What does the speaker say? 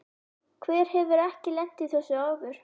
Hver hefur ekki lent í þessu áður?